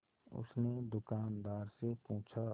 उसने दुकानदार से पूछा